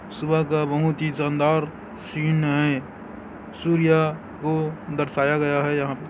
सुबह का बहुत ही शानदार सीन हैं सूर्या को दर्शाया गया हैं यहाँ प--